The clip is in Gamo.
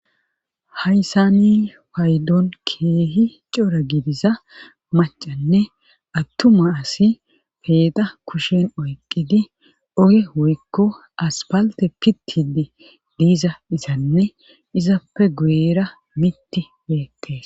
hayssa ni paydon keehi cora gidiza macanne attuma asi peeda kushen oyqqidi oge woykko aspalte pittidi diiza izanne izappe guera mitti beette